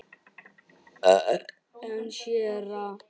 En séra